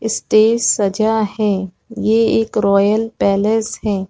Stage सजा है ये एक रॉयल पैलेस है।